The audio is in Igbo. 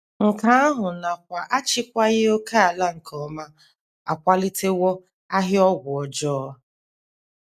Nke ahụ nakwa achịkwaghị ókèala nke ọma akwalitewo ahịa ọgwụ ọjọọ.